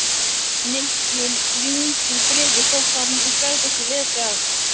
Nikki rýndi í bréfið þótt hann gæti ekki lesið allt.